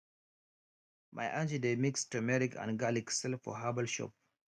my aunty dey mix turmeric and garlic sell for herbal shop